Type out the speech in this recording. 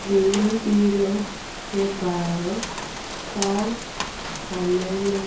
Gima biro e paro ka aneno